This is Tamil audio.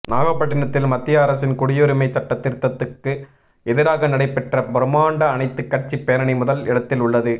நாகப்பட்டினத்தில் மத்திய அரசின் குடியுரிமை சட்ட திருத்தத்துக்கு எதிராக நடைபெற்ற பிரமாண்ட அனைத்து கட்சி பேரணி முதல் இடத்தில் உள்ளது